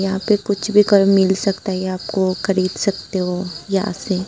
यहां पे कुछ भी कर मिल सकता है ये आपको खरीद सकते हो यहां से।